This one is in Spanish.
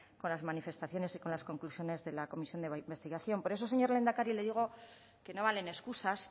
con las manifestaciones y las conclusiones de la comisión de investigación por eso señor lehendakari le digo que no valen excusas